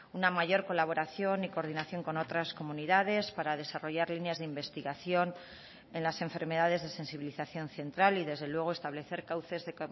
una mayor colaboración y coordinación con otras comunidades para desarrollar líneas de investigación en las enfermedades de sensibilización central y desde luego establecer cauces de